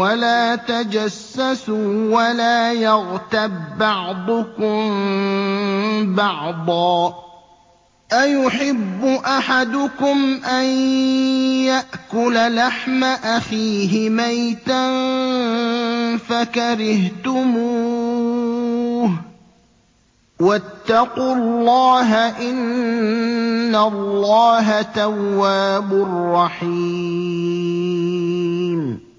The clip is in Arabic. وَلَا تَجَسَّسُوا وَلَا يَغْتَب بَّعْضُكُم بَعْضًا ۚ أَيُحِبُّ أَحَدُكُمْ أَن يَأْكُلَ لَحْمَ أَخِيهِ مَيْتًا فَكَرِهْتُمُوهُ ۚ وَاتَّقُوا اللَّهَ ۚ إِنَّ اللَّهَ تَوَّابٌ رَّحِيمٌ